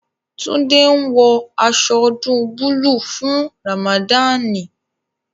Tunde ń wọ aṣọ ọdún búlúù fún Ramadani